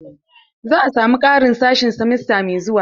Za a samu ƙarin sashe simesta mai zuwa.